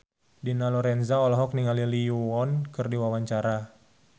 Dina Lorenza olohok ningali Lee Yo Won keur diwawancara